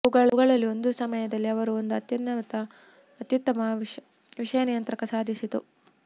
ಅವುಗಳಲ್ಲಿ ಒಂದು ಸಮಯದಲ್ಲಿ ಅವರು ಒಂದು ಅತ್ಯುತ್ತಮ ವಿಷಯ ನಿಯಂತ್ರಕ ಸಾಧಿಸಿತು